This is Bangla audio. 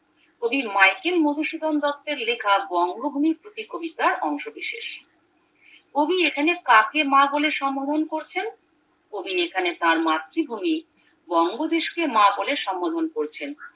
কবি মাইকেল মধু সুধন দত্তের লেখা বঙ্গভূমির প্রতি কবিতার অংশ বিশেষ কবি এখানে কাকে মা বলে সম্বোধন করছেন কবি এখানে তার মাতৃভূমি বঙ্গদেশকে মা বলে সম্বোধন করেছেন